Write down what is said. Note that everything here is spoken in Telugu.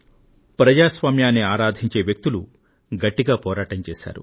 ప్రజాస్వామ్యాన్ని ఆరాధించే వ్యక్తులు గట్టిగా పోరాటం చేశారు